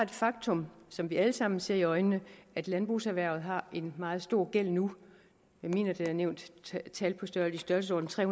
det faktum som vi alle sammen ser i øjnene at landbrugserhvervet har en meget stor gæld nu jeg mener at der er nævnt et tal i størrelsesordenen tre